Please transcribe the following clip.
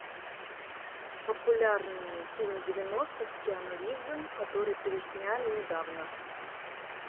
популярный фильм девяностых с киану ривзом который пересняли недавно